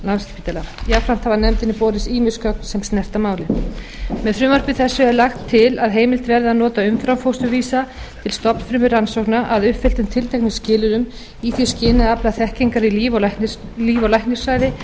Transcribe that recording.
og landspítala jafnframt hafa nefndinni borist ýmis gögn sem snerta málið með frumvarpi þessu er lagt til að heimilt verði að nota umframfósturvísa til stofnfrumurannsókna að uppfylltum tilteknum skilyrðum í því skyni að afla þekkingar í líf og læknisfræði